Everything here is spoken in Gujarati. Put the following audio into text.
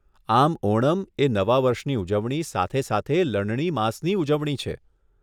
આમ ઓનમ એ નવા વર્ષની ઉજવણી, સાથે સાથે લણણી માસની ઉજવણી છે.